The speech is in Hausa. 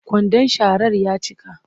Kwandon sharar ya cika